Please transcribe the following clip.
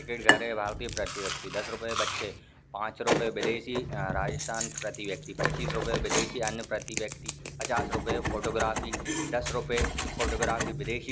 प्रति व्यक्ति दस रुपये बच्चे पांच रुपये विदेशी राजस्थान प्रति व्यक्ति पचीस् रुपये विदेशी अन्य प्रतीत व्यक्ति पचास रुपये फोटोग्राफी दस रुपये फोटोग्राफी विदेशी --